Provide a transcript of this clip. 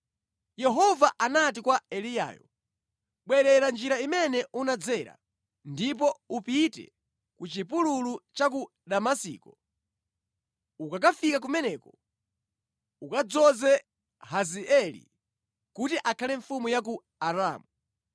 Yehova anati kwa Eliyayo, “Bwerera njira imene unadzera, ndipo upite ku Chipululu cha ku Damasiko. Ukakafika kumeneko, ukadzoze Hazaeli kuti akhale mfumu ya ku Aramu.